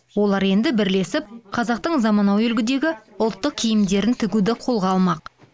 олар енді бірлесіп қазақтың заманауи үлгідегі ұлттық киімдерін тігуді қолға алмақ